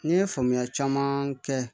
N ye faamuya caman kɛ